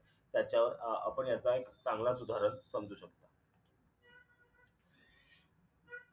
त्याच्या अं आपण याचा एक चांगलाच उदाहरण समजू शकतो